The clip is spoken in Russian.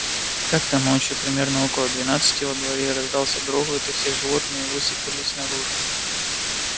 как-то ночью примерно около двенадцати во дворе раздался грохот и все животные высыпались наружу